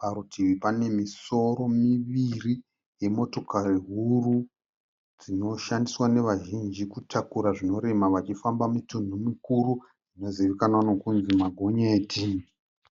Parutivi pane misoro miviri yemotokari huru dzinoshandiswa nevazhinji kutakura zvinorema vachifamba mitunhu mikuru dzinozivikanwa nekunzi magonyeti.